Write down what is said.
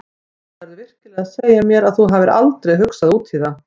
Ætlarðu virkilega að segja mér að þú hafir aldrei hugsað út í það?